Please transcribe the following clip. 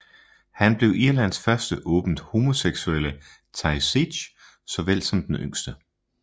Han blev Irlands første åbent homoseksuelle Taoiseach såvel som den yngste